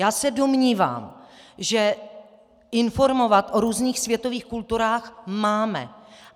Já se domnívám, že informovat o různých světových kulturách máme.